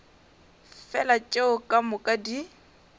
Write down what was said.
fela tšeo ka moka di